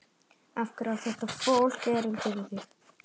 Af hverju á þetta fólk erindi við þig?